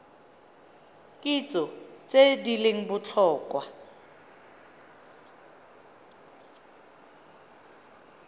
kitso tse di leng botlhokwa